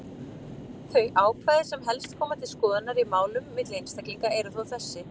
Þau ákvæði sem helst koma til skoðunar í málum milli einstaklinga eru þó þessi: